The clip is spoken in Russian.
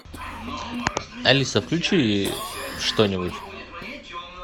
алиса включи что нибудь